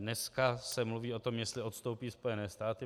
Dneska se mluví o tom, jestli odstoupí Spojené státy.